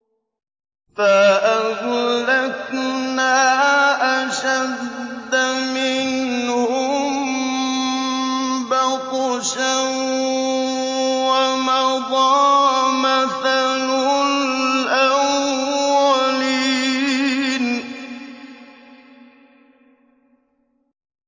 فَأَهْلَكْنَا أَشَدَّ مِنْهُم بَطْشًا وَمَضَىٰ مَثَلُ الْأَوَّلِينَ